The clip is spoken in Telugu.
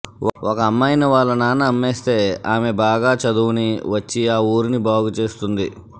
ఒక అమ్మాయిని వాళ్ల నాన్న అమ్మేస్తే ఆమె బాగా చదువుని వచ్చి ఆ ఊరిని బాగు చేస్తుంది